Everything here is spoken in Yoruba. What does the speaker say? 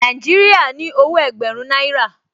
Nàìjíríà ní owó ẹgbẹ̀rún náírà